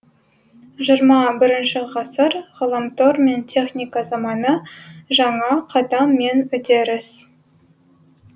жиырма бірінші ғасыр ғаламтор мен техника заманы жаңа қадам мен үдеріс